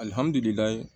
Alihamdullilaye